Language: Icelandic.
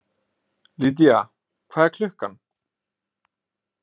Lydia, hvað er klukkan?